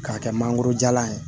K'a kɛ mangoro jalan ye